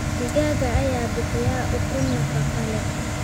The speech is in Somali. Digaagga ayaa bixiya ukun nafaqo leh.